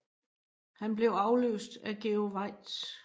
Han blev afløst af Georg Waitz